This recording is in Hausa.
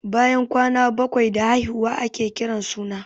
Bayan kwana bakwai da haihuwa ake kiran suna.